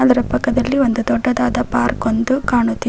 ಅದರ ಪಕ್ಕದಲ್ಲಿ ಒಂದು ದೊಡ್ಡದಾದ ಪಾರ್ಕ್ ಒಂದು ಕಾಣುತ್ತಿ--